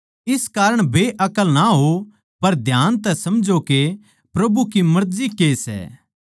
इस कारण बेअक्ल ना होओं पर ध्यान तै समझो के प्रभु की मर्जी के सै